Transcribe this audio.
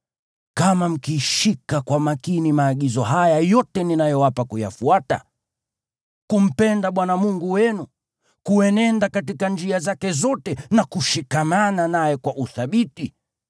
Kama mkishika kwa makini maagizo haya yote ninayowapa kuyafuata, ya kumpenda Bwana Mungu wenu, kuenenda katika njia zake zote na kushikamana naye kwa uthabiti,